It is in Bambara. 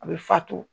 A bɛ fa to